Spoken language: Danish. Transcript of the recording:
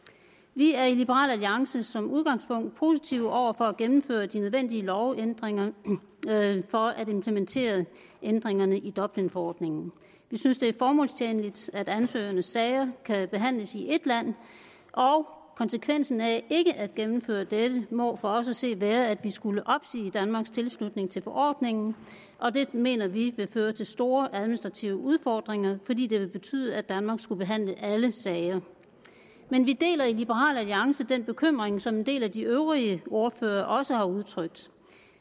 vi er i liberal alliance som udgangspunkt positive over for at gennemføre de nødvendige lovændringer for at implementere ændringerne i dublinforordningen vi synes det er formålstjenligt at ansøgernes sager kan behandles i ét land og konsekvensen af ikke at gennemføre dette må for os at se være at vi skulle opsige danmarks tilslutning til forordningen og det mener vi ville føre til store administrative udfordringer fordi det ville betyde at danmark skulle behandle alle sager men vi deler i liberal alliance den bekymring som en del af de øvrige ordførere også har udtrykt